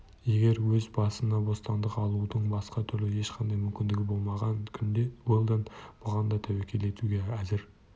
егер өз басына бостандық алудың басқа түрлі ешқандай мүмкіндігі болмаған күнде уэлдон бұған да тәуекел етуге әзір